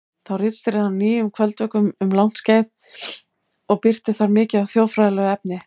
Þá ritstýrði hann Nýjum kvöldvökum um langt skeið og birti þar mikið af þjóðfræðilegu efni.